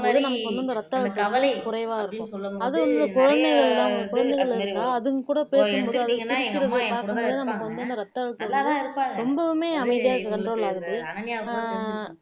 நீங்க சொன்ன மாதிரி அந்த கவலை அப்பிடின்னு சொல்லும்போது நிறைய இது அதுமாறி இப்ப எடுத்துகிட்டீங்கன்னா எங்க அம்மா என்கூட தான் இருப்பாங்க நல்லதா இருப்பாங்க அனன்யாக்கு கூட தெரிஞ்சுருக்கும்